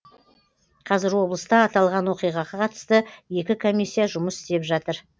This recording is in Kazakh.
қазір облыста аталған оқиғаға қатысты екі комиссия жұмыс істеп жатыр